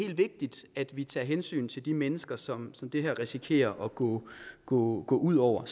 vigtigt at vi tager hensyn til de mennesker som som det her risikerer at gå gå ud over